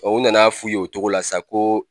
Tubabuw nana f'u y ye o togo la sa ko